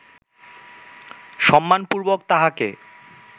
সম্মানপূর্বক তাঁহাকে